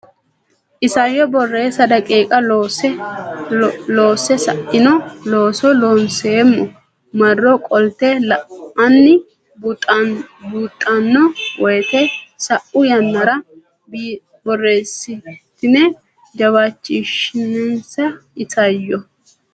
Isayyo Borreessa daqiiqa loosse sa ino looso Loonseemmo marro qolte la anni buuxxanno woyte sa u yannara borreessitine jawaachishinsa Isayyo.